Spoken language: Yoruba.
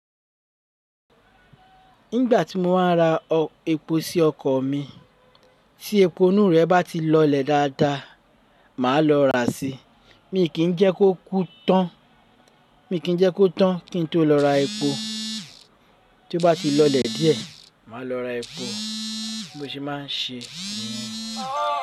Nígbà tí mo wá ra epo sí ọkọ̀ mi, tí epo inú rẹ̀ bá ti lọlẹ̀ dáadáa, màá lọ ra sí i. Mi kì í jẹ́ kó kú tán, mi kì í jẹ́ kó tán kí n tó lọ ra epo. Tí ó bá ti lọlẹ̀ díẹ̀, màá lọ ra epo bí mo ṣe máa ń ṣe niyen.